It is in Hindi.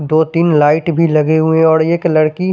दो तिन लाइट भी लगे हुए है और एक लड़की--